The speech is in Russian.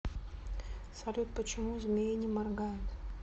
салют почему змеи не моргают